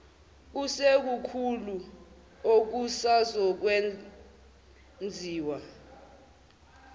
kusekukhulu okusazokwen ziwa